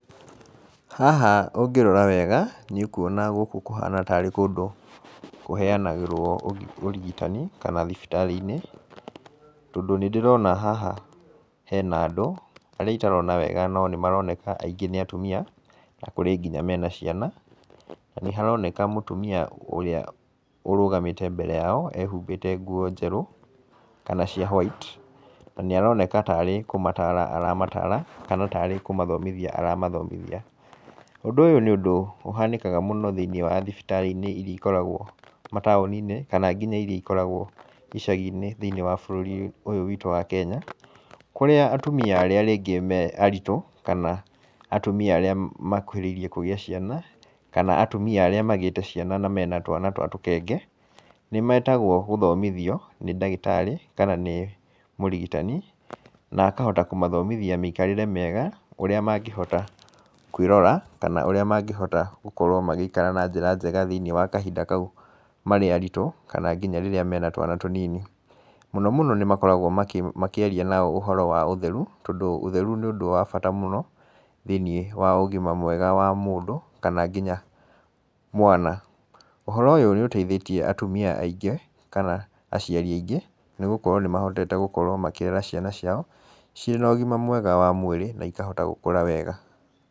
Haha ũngĩrora wega nĩ ũkwona gũkũ nĩ kũndũ kũhana tarĩ kũndũ kũheanagĩrwo ũrigitani kana thibitari-inĩ, tondũ nĩ ndĩrona haha hena andũ arĩa itarona wega no nĩ maroneka aingĩ nĩ atumia, kũrĩ nginya mena ciana, nĩ haroneka mũtumia ũrĩa ũrũgamĩte mbere yao ehumbĩte nguo njerũ kana cia white, na nĩ aroneka tarĩ kũmatara aramatara kana tarĩ kũmathomithia aramathomithia, ũndũ ũyũ nĩ ũndũ ũhanĩkaga mũno thĩiniĩ wa thibitari-inĩ iria ikoragwo mataũni-inĩ, kana nginya iria ikoragwo icagi-inĩ thĩiniĩ wa bũrũri-inĩ ũyũ witũ wa Kenya, kũrĩa atumia arĩa rĩngĩ me aritũ kana atumia arĩa makuhĩrĩirie kũgĩa ciana, kana atumia arĩa magĩte ciana na mena twana twa tũkenge, nĩ metagwo gũthomithio nĩ ndagĩtarĩ kana nĩ mũrigitani, na akahota kũmathomithia mĩikarĩre mĩega ũrĩa mangĩhota kwĩrora kana ũrĩa mangĩhota gũkorwo magĩikara na njĩra njega thĩiniĩ wa kahinda kau marĩ aritũ kana nginya rĩrĩa mena twana tũnini, mũno mũno nĩ makoragwo makĩaria ũhoro wa ũtheru, tondũ ũtheru nĩ ũndũ wa bata mũno thĩiniĩ wa ũgima mwega wa mũndũ kana nginya mwana, ũhoro ũyũ nĩ ũteithĩtie atumia aingĩ kana aciari aingĩ, nĩgũkorwo nĩ mahotete gũkorwo makĩrera ciana ciao ciĩna ũgima mwega wa mwĩrĩ na ikahota gũkũra wega.